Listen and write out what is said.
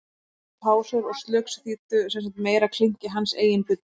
Bruðl, pásur og slugs þýddu sem sagt meira klink í hans eigin buddu.